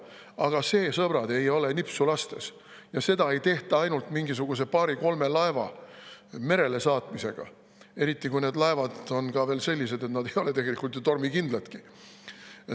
Aga see, sõbrad, ei ole nipsu lastes ja seda ei tehta ainult mingisuguse paari-kolme laeva merele saatmisega, eriti kui need laevad on sellised, et nad ei ole tegelikult tormikindladki.